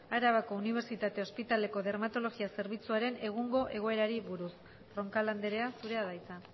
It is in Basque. arabako unibertsitate ospitaleko dermatologia zerbitzuaren egungo egoerari buruz roncal andrea zurea da hitza